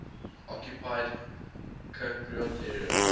occupied cypriot area